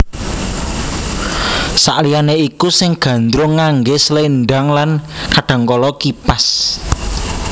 Saliyane iku si Gandrung ngangge slendhang lan kadangkala kipas